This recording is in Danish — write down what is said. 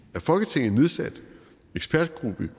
af folketinget nedsat